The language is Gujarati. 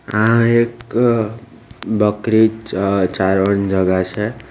આ એક બકરી ચ-ચારવાન જગા છે.